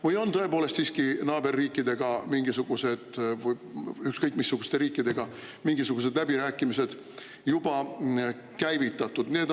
Või on tõepoolest siiski naaberriikidega, ükskõik missuguste riikidega, mingisugused läbirääkimised juba käivitatud?